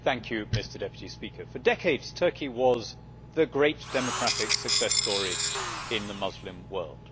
Mr President, for decades Turkey was the great democratic success story in the Muslim world.